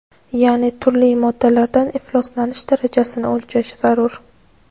ya’ni turli moddalardan ifloslanish darajasini o‘lchash zarur.